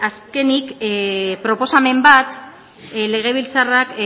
azkenik proposamen bat legebiltzarrak